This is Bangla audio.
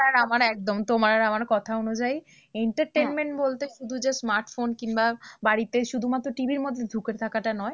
তোমার আর আমার কথা অনুযায়ী entertainment বলতে শুধু যে smartphone কিংবা বাড়িতে শুধুমাত্র TV র মধ্যে ঢুকে থাকাটা নয়।